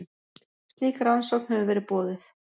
Slík rannsókn hefur verið boðuð